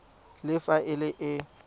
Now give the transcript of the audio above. le fa e le e